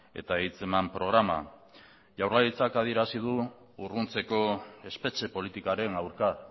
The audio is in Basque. eta hitzeman programa jaurlaritzak adierazi du urruntzeko espetxe politikaren aurka